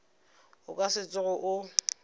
o ka se tsoge o